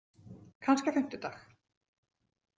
Kannski á fimmtudag.